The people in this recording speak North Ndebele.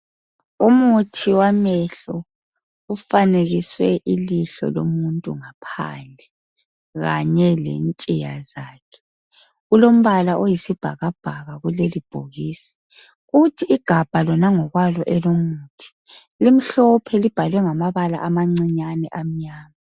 Umuthi wamehlo ufanekiswe ilihlo lomuntu ngaphandle, kanye lentshiya zakhe. Ulombala oyisibhakabhaka kulelibhokisi. Kuthi igabha lona ngokwalo elomuthi, limhlophe libhalwe ngamabala amancinyane amnyama.